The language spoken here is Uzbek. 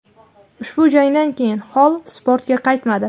Ushbu jangdan keyin Holl sportga qaytmadi.